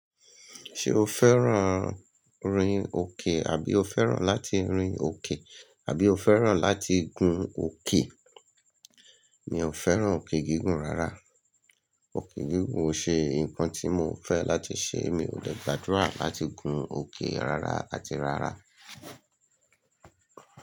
Ṣe o fẹ́ràn rin òkè? Àbí o fẹ́ràn láti rin òkè? Àbí o fẹ́ràn láti gun òkè? Mi ò fẹ́ràn òkè gígùn rárá. Òkè gígùn ó ṣe nǹkan tí mo ò fẹ́ láti ṣe. Mi ò dẹ̀ gbàdúrà láti gun òkè rárá àti rárá.